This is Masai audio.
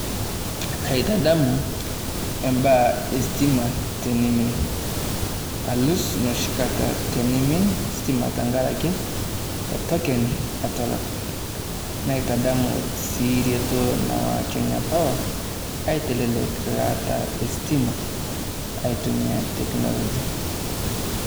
Kaaitadamu imbaaa esitima teneimin alus noshi kata teneimin ositima tenkaraki etoken etulak naitadamu sii reto nawa Kenya power aitelek sitima aitumia technologia.